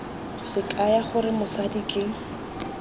se kaya gore mosadi ke